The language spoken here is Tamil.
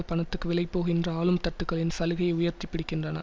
பணத்துக்கு விலைபோகின்ற ஆளும் தட்டுக்களின் சலுகையை உயர்த்தி பிடிக்கின்றன